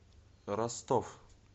ростов